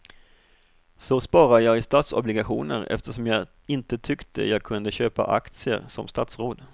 Så sparar jag i statsobligationer eftersom jag inte tyckte jag kunde köpa aktier som statsråd.